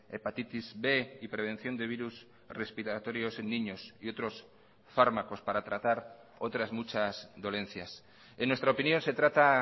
hepatitis b y prevención de virus respiratorios en niños y otros fármacos para tratar otras muchas dolencias en nuestra opinión se trata